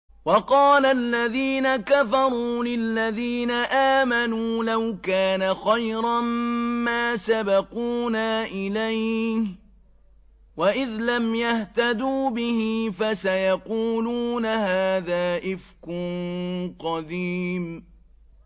وَقَالَ الَّذِينَ كَفَرُوا لِلَّذِينَ آمَنُوا لَوْ كَانَ خَيْرًا مَّا سَبَقُونَا إِلَيْهِ ۚ وَإِذْ لَمْ يَهْتَدُوا بِهِ فَسَيَقُولُونَ هَٰذَا إِفْكٌ قَدِيمٌ